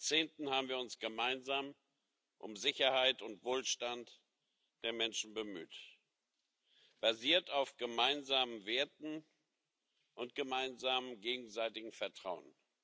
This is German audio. Seit Jahrzehnten haben wir uns gemeinsam um Sicherheit und Wohlstand der Menschen bemüht, basiert auf gemeinsamen Werten und gemeinsamem gegenseitigem Vertrauen.